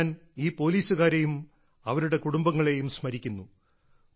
ഇന്ന് ഞാൻ ഈ പോലീസുകാരെയും അവരുടെ കുടുംബങ്ങളെയും സ്മരിക്കുന്നു